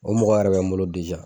O mɔgɔ yɛrɛ bɛ n bolo